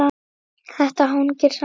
Þetta hangir saman.